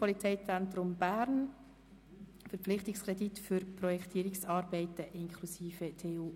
Somit kommen wir direkt zur Abstimmung über Traktandum 35.